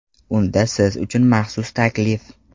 Unda siz uchun maxsus taklif!